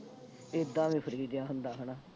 ਐਦਾਂ ਦੇ ਫ਼੍ਰੀ ਦਿਆਂ ਹੁੰਦਾ ਹਣਾ